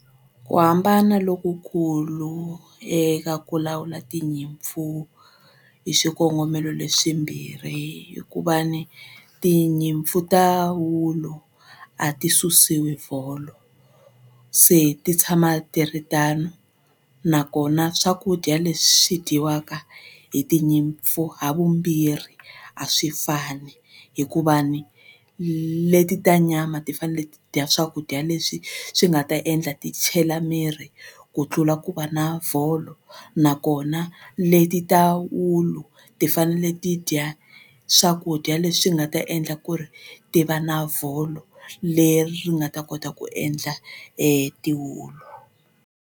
Ku hambana lokukulu eka ku lawula tinyimpfu hi xikongomelo leswimbirhi hikuva ni tinyimpfu ta wulu a ti susiwi vholo se ti tshama ti ri tano nakona swakudya leswi dyiwaka hi tinyimpfu ha vumbirhi a swi fani hikuva ni leti ta nyama ti fanele ti dya swakudya leswi swi nga ta endla ti chela miri ku tlula ku va na vholo nakona leti ta wulu ti fanele ti dya swakudya leswi nga ta endla ku ri ti va na vholo leri ri nga ta kota ku endla tiwulu.